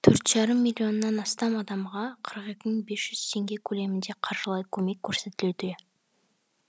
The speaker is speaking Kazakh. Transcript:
төрт жарым миллионнан астам адамға қырық екі мың бес жүз теңге көлемінде қаржылай көмек көрсетілуде